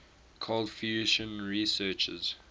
cold fusion researchers